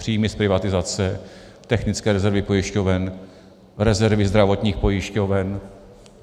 Příjmy z privatizace, technické rezervy pojišťoven, rezervy zdravotních pojišťoven.